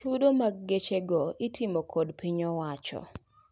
chudo mag geche go itimo kod piny owacho